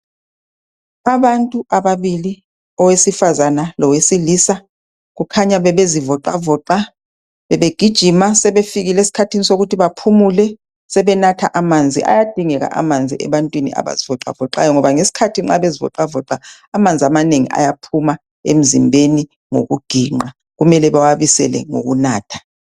Abantu ababili owesifazana lowesilisa kukhanya bebezi voxavoxa bebegijima sebefikile eskhathini sokuthi baphumule sebenatha amanzi .Ayadingeka amanzi ebantwini abazivoxa voxayo ngoba ngesikhathi nxa bezi voxavoxa amanzi amanengi ayaphuma emzimbeni ngokuginqa kumele bawabisele ngokunatha.